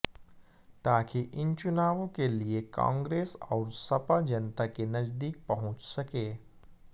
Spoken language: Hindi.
ताकि इन चुनावों के लिए कांग्रेस और सपा जनता के नजदीक पहुंच सके